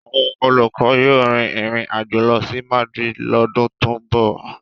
Àwọn olùkọ́ yóò rin ìrìn àjò lọ sí Madrid lọ́dún tó ń bọ̀.